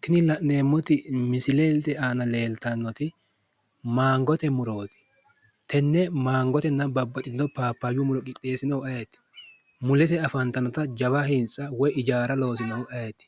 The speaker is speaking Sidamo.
tini la'neemmoti misilete aana leeltannoti mangote murooti. tenne mangotenna babbaxxitino paapayyu muro qixxeessinohu ayeeti? mulese afantannota jawa hintsa woyi hijaara loosinohu ayeeti?